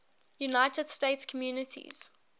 united states communities